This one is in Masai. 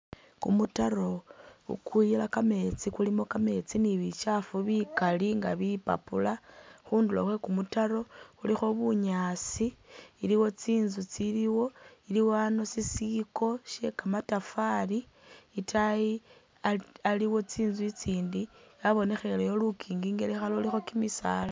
Kumutaro kukuyila kameetsi kulimo kameetsi ni bikyafu bikali nga bipapula, khunduro khw kumutaro khulikho bunyasi iliwo tsinzu tsiliwo, iliwo anp sisiko shye kamatafari itaayi aliwo tsinzu tsitsindi yabonekhelewo lukinki itaayi lulikho kimisaala.